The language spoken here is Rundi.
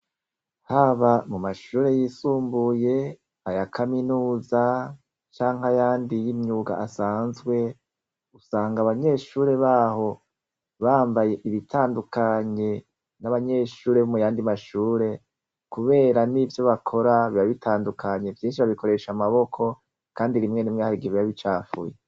Haba mu mashure yisumbuye aya kaminuza canke ayandi y' imyuga asanzwe usanga abanyeshure baho bambaye ibitandukanye n' abanyeshure bo muyandi ma shure kubera n' ivyo bakora biba bitandukanye vyinshi babikoresha amaboko kandi rimwe rimwe hari igihe biba bicafuye.